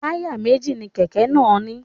Táyà méjì ni kẹ̀kẹ́ máa ń ní.